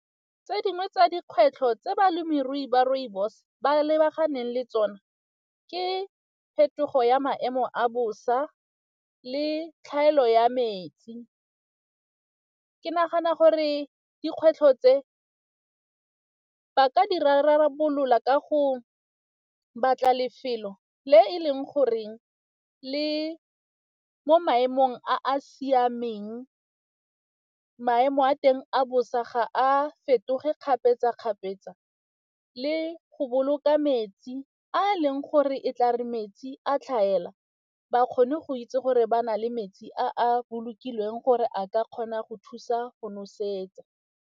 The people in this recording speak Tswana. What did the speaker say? Tse dingwe tsa dikgwetlho tse balemirui ba rooibos ba lebaganeng le tsona ke phetogo ya maemo a bosa le tlhaelo ya metsi. Ke nagana gore dikgwetlho tse ba ka di rarabolola ka go batla lefelo le e leng goreng le mo maemong a a siameng, maemo a teng a bosa ga a fetoge kgapetsa-kgapetsa le go boloka metsi a leng gore e tla re metsi a tlhaela ba kgone go itse gore ba na le metsi a a bolokilweng gore a ka kgona go thusa go nosetsa.